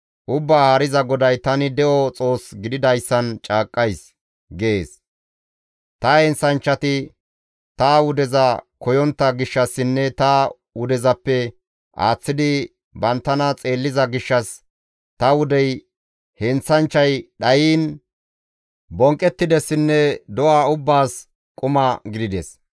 Ubbaa Haariza GODAY, ‹Tani de7o Xoos gididayssan caaqqays!› gees; ta heenththanchchati ta wudeza koyontta gishshassinne ta wudezappe aaththidi banttana xeelliza gishshas ta wudey heenththanchchay dhayiin bonqqettidessinne do7a ubbaas quma gidides.